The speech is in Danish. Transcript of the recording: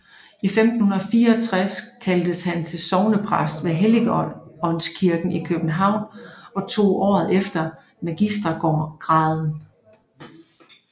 I 1564 kaldtes han til sognepræst ved Helligåndskirken i København og tog året efter magistergraden